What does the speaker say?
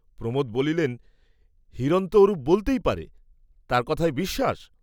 প্রমোদ বলিলেন, হিরণ তো ওরূপ বলতেই পারে, তার কথায় বিশ্বাস?